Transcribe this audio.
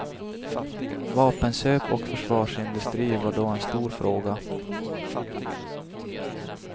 Vapenköp och försvarsindustri var då en stor fråga.